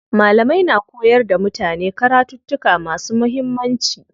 Malamai na koyar da mutane karattuka masu muhimmanci.